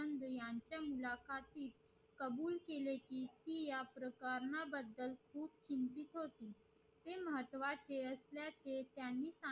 कबुल केले कि ती या pharma चिंतित होती ते महत्वाचे असल्या चे त्यांनी सांगितले